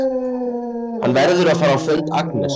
Hann verður að fara á fund Agnesar!